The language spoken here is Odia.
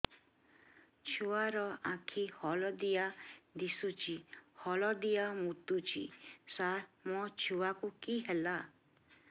ଛୁଆ ର ଆଖି ହଳଦିଆ ଦିଶୁଛି ହଳଦିଆ ମୁତୁଛି ସାର ମୋ ଛୁଆକୁ କି ହେଲା